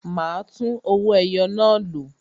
A máa tún owó ẹyọ náà lò